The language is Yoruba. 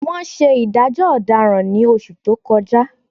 Wọ́n ṣe ìdájọ́ ọ̀daràn ní oṣù tó kọjá